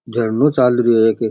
झरनो चाल रो ईके।